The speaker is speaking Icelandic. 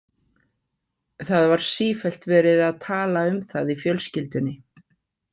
Það var sífellt verið að tala um það í fjölskyldunni.